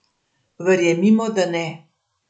Verjemimo, da ne.